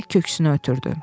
deyərək köksünü ötürdü.